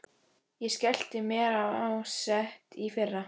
Ég skellti mér á sett í fyrra.